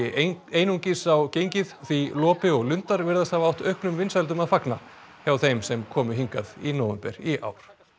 einungis á gengið því lopi og lundar virðast hafa átt auknum vinsældum að fagna hjá þeim sem komu hingað í nóvember í ár